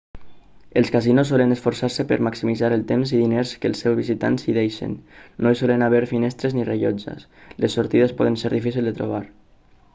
els casinos solen esforçar-se per maximitzar el temps i diners que els seus visitants hi deixen no hi solen haver finestres ni rellotges i les sortides poden ser difícils de trobar